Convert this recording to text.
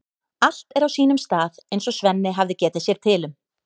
Allt er á sínum stað eins og Svenni hafði getið sér til um.